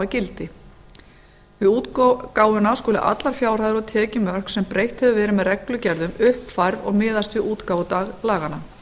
gildi við útgáfuna skulu allar fjárhæðir af tekjum sem breytt hefur verið með reglugerðum uppfærð og miðast við útgáfudag laganna